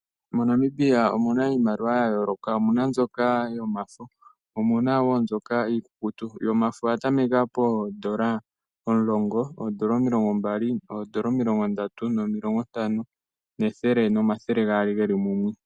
MoNamibia omuna iimaliwa ya yooloka, omuna mbyoka yomafo, omuna wo mbyoka iikukutu. Yomafo oya tameka poondola omulongo, oondola omilongo mbali, oondola omilongo ndatu, nomilongo ntano nethele nomathele gaali geli mumwe.